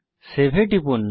save এ টিপুন